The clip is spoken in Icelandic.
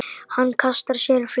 Hann kastar sér flötum.